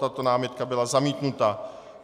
Tato námitka byla zamítnuta.